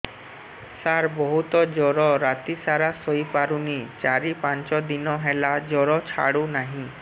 ସାର ବହୁତ ଜର ରାତି ସାରା ଶୋଇପାରୁନି ଚାରି ପାଞ୍ଚ ଦିନ ହେଲା ଜର ଛାଡ଼ୁ ନାହିଁ